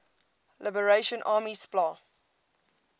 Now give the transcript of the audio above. liberation army spla